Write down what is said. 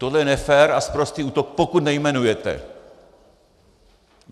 Tohle je nefér a sprostý útok, pokud nejmenujete.